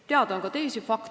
Teada on ka teisi fakte.